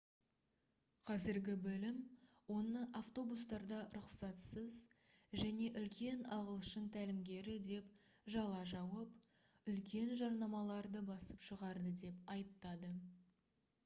қазіргі білім оны автобустарда рұқсатсыз және үлкен ағылшын тәлімгері деп жала жауып үлкен жарнамаларды басып шығарды деп айыптады